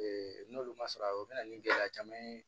n'olu ma sɔrɔ a ye o bɛ na ni gɛlɛya caman ye